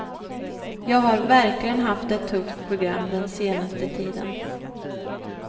Jag har verkligen haft ett tufft program den senaste tiden.